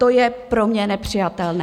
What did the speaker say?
To je pro mě nepřijatelné.